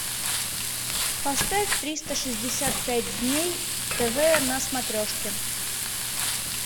поставь триста шестьдесят пять дней тв на смотрешке